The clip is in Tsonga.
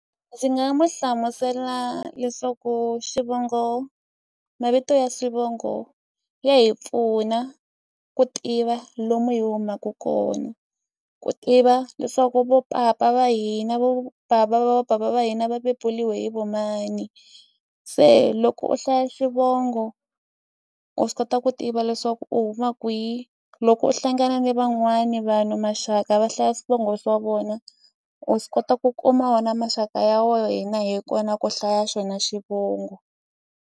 Ndzi nga mu hlamusela leswaku xivongo mavito ya swivongo ya hi pfuna ku tiva lomu hi humaku kona ku tiva leswaku vo papa va hina vo bava va bava va hina va bebuliwe hi vomani se loko u hlaya xivongo u swi kota ku tiva leswaku u huma kwihi loko u hlangana ni van'wani vanhu maxaka va hlaya swivongo swa vona u swi kota ku kuma wena maxaka ya wena hi kona ku hlaya xona xivongo.